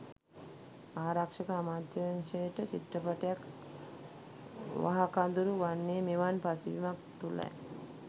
ආරක්ෂක අමාත්‍යාංශයට චිත්‍රපටයක් වහකදුරු වන්නේ මෙවන් පසුබිමක් තුළයි.